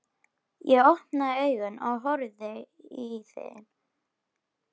Ég opna augun og horfi í þín.